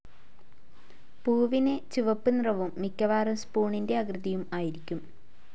പൂവിന് ചുവപ്പ് നിറവും മിക്കവാറും സ്പൂണിന്റെ ആകൃതിയും ആയിരിക്കും.